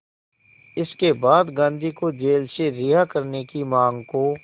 इसके बाद गांधी को जेल से रिहा करने की मांग को